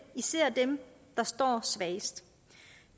især dem der står svagest